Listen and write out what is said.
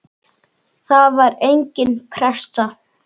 Það var engin pressa.